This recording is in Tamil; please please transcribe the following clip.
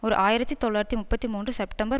ஓர் ஆயிரத்தி தொள்ளாயிரத்து முப்பத்தி மூன்று செப்டம்பர்